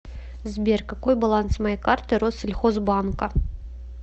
сбер какой баланс моей карты россельхозбанка